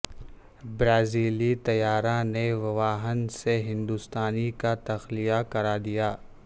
برازیلی طیارہ نے ووہان سے ہندوستانی کا تخلیہ کرا دیا